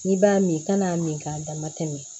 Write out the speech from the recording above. N'i b'a min kan'a min k'a dama tɛmɛ